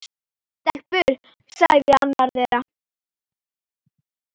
Stelpur sagði annar þeirra.